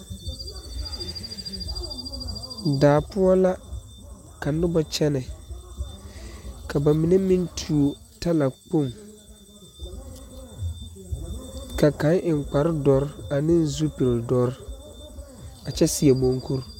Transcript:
Daa poʊ la ka noba kyɛne. Ka ba mene meŋ tuo tala kpong. Ka kang eŋ kpar doure ne zupul doure a kyɛ seɛ munkur